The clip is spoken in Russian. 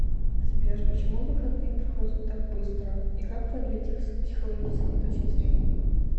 сбер почему выходные проходят так быстро и как продлить их с психологической точки зрения